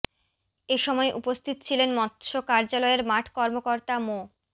এ সময় উপস্থিত ছিলেন মৎস্য কার্যালয়ের মাঠ কর্মকর্তা মো